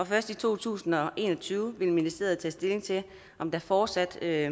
først i to tusind og en og tyve vil ministeriet tage stilling til om der fortsat er